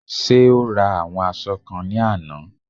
Ṣé o ra àwọn aṣọ kan ní àná?